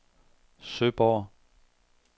Søborg